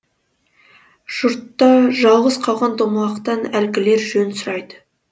жұртта жалғыз қалған домалақтан әлгілер жөн сұрайды